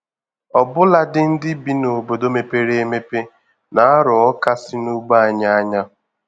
Ọbụladị ndị bi n'obodo mepere emepe na-arọ Ọka si n'ugbo anyị ányá